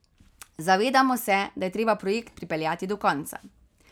Zavedamo se, da je treba projekt pripeljati do konca.